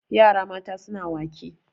yara mata suna wake